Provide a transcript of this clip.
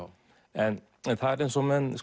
en það er eins og menn